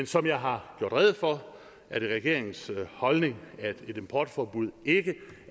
som jeg har gjort rede for er det regeringens holdning at et importforbud ikke